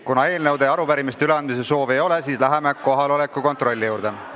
Kuna eelnõude ja arupärimiste üleandmise soovi ei ole, siis läheme kohaloleku kontrolli juurde.